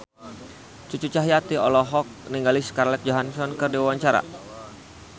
Cucu Cahyati olohok ningali Scarlett Johansson keur diwawancara